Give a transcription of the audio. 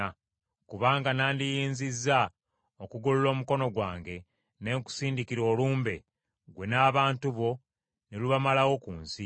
Kubanga nandiyinzizza okugolola omukono gwange ne nkusindikira olumbe, ggwe n’abantu bo, ne lubamalawo ku nsi.